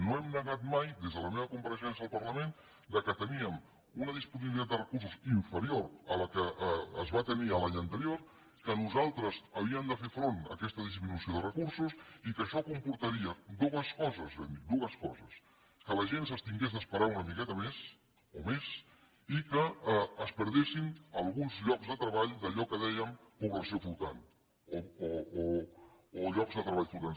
no hem negat mai des de la meva compareixença al parlament que teníem una disponibilitat de recursos inferior a la que es va tenir l’any anterior que nosaltres havíem de fer front a aquesta disminució de recursos i que això comportaria dues coses vam dir dues coses que la gent s’hagués d’esperar una miqueta més o més i que es perdessin alguns llocs de treball d’allò que en dèiem població flotant o llocs de treball flotants